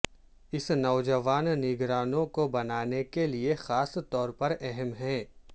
اس نوجوان نگرانوں کو بنانے کے لئے خاص طور پر اہم ہے